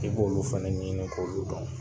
I b'olu fana ne ɲini k'olu dɔn